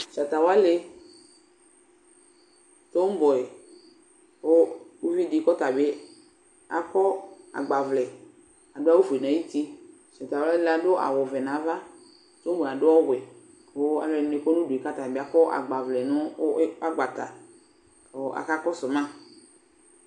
Tatawanɩ dɔmbʋɛ, kʋ uvi dɩ kʋ ɔta bɩ akɔ agnavlɛ, adʋ awʋfue nʋ ayʋ uti Talʋ wanɩ adʋ awʋvɛ nʋ ava, dɔbʋɛ adʋ ɔwɛ, kʋ alʋ ɛdɩnɩ bɩ akɔ agbavlɛ nʋ agbata, kʋ akakɔsʋ ma